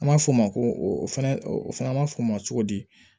An b'a fɔ o ma ko o fɛnɛ o fana ma f'o ma cogo di